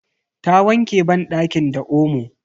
Ta wanke banɗakin da omo.